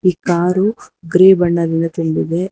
ಈ ಕಾರು ಗ್ರೇ ಬಣ್ಣದಿಂದ ತುಂಬಿದೆ.